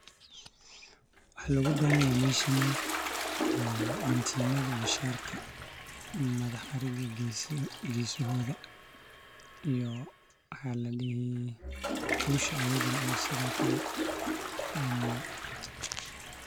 Waxa logabahanyahay meeshan guntinada iyo sharka madaxa ariga iyo gesahoda iyo kushaa ayadana ooo sidokale larawo.